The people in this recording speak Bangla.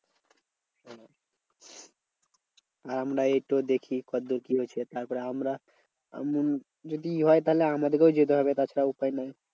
আমরা এইতো দেখি কত দূর কি হয়েছে? তারপর আমরা যদি হয় তাহলে আমাদেরকেও যেতে হবে তাছাড়া উপায় নেই।